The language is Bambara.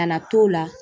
Kana t'o la